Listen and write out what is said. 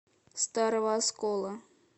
старого оскола